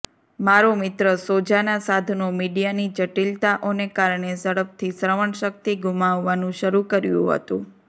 મારો મિત્ર સોજાના સાધનો મીડિયાની જટિલતાઓને કારણે ઝડપથી શ્રવણશક્તિ ગુમાવવાનું શરૂ કર્યું હતું